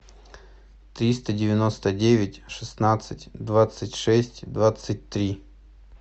триста девяносто девять шестнадцать двадцать шесть двадцать три